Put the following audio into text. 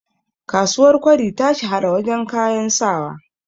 kasuwar kwari ta shahara wajen kayan sawa